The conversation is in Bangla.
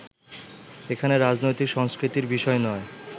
এখানে রাজনৈতিক সংস্কৃতির বিষয় নয়